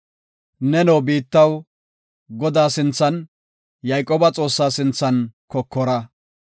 Neno biittaw, Godaa sinthan, Yayqooba Xoossaa sinthan kokora.